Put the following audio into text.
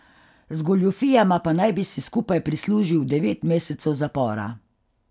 Z goljufijama pa naj bi si skupaj prislužil devet mesecev zapora.